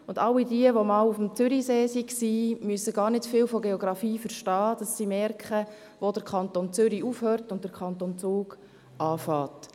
All jene, die schon auf dem Zürichsee waren, müssen gar nicht viel von Geografie verstehen, um zu merken, wo der Kanton Zürich aufhört und wo der Kanton Zug anfängt.